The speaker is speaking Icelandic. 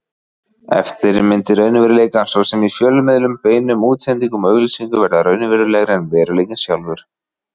Eftirmyndir raunveruleikans, svo sem í fjölmiðlum, beinum útsendingum og auglýsingum, verða raunverulegri en veruleikinn sjálfur.